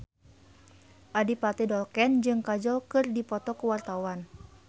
Adipati Dolken jeung Kajol keur dipoto ku wartawan